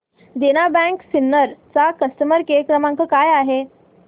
देना bank Sinnar चा customer care क्रमांक काय आहे